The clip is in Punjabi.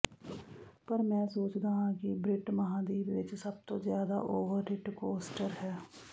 ਪਰ ਮੈਂ ਸੋਚਦਾ ਹਾਂ ਕਿ ਬ੍ਰਿਟ ਮਹਾਂਦੀਪ ਵਿੱਚ ਸਭਤੋਂ ਜਿਆਦਾ ਓਵਰਟਿੱਟ ਕੋਸਟਰ ਹੈ